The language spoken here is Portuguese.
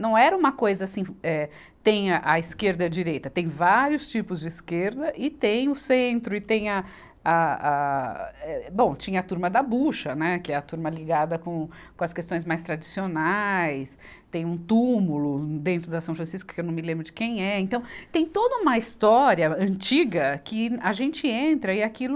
Não era uma coisa assim, eh, tem a esquerda e a direita, tem vários tipos de esquerda e tem o centro e tem a, a, a, eh, bom, tinha a turma da bucha, né, que é a turma ligada com as questões mais tradicionais, tem um túmulo dentro da São Francisco, que eu não me lembro de quem é. Então, tem toda uma história antiga que a gente entra e aquilo...